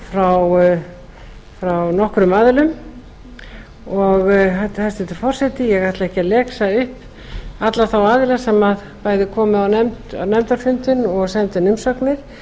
frá nokkrum aðilum hæstvirtur forseti ég ætla ekki að lesa upp alla þá aðila sem bæði komu á nefndarfundinn og sendu inn umsagnir